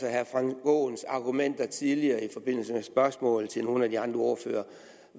herre frank aaens argumenter tidligere i forbindelse med spørgsmål til nogle af de andre ordførere